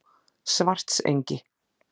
Svartsengi